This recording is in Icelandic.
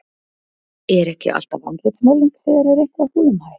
Er ekki alltaf andlitsmálning þegar er eitthvað húllumhæ?